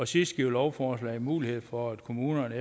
sidste giver lovforslaget mulighed for at kommunerne